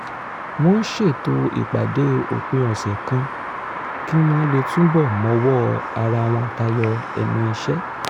wọ́n ṣètò ìpàdé òpin ọ̀sẹ̀ kan kí wọ́n lè túbọ̀ mọwọ́ ara wọn tayọ ẹnu iṣẹ́